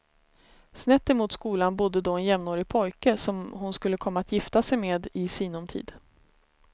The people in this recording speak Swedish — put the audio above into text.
Snett emot skolan bodde då en jämnårig pojke som hon skulle komma att gifta sig med i sinom tid.